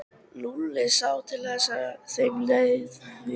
Lúlli sá til þess að þeim liði vel.